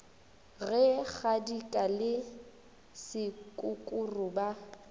ge kgadika le sekukuru ba